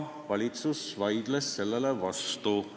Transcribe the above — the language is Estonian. Valitsus vaidles sellele vastu.